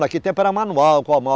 Naquele tempo era manual com a mão.